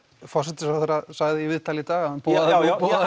forsætisráðherra sagði í viðtali í dag að hann boðaði